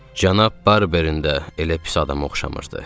Cənab Barberin də elə pis adama oxşamırdı.